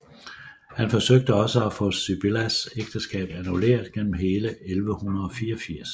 Han forsøgte også at få Sibyllas ægteskab annulleret gennem hele 1184